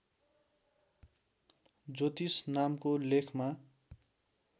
ज्योतिष नामको लेखमा